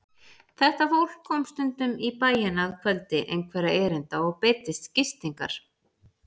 Þetta fólk kom stundum í bæinn að kvöldi einhverra erinda og beiddist gistingar.